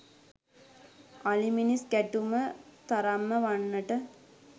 අලි මිනිස් ගැටුම තරම්ම වන්නට